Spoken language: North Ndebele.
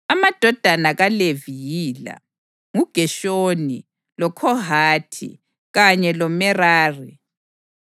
Amadodana kaLevi yila: nguGeshoni, loKhohathi, kanye loMerari.